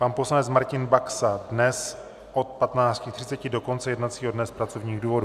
Pan poslanec Martin Baxa dnes od 15.30 do konce jednacího dne z pracovních důvodů.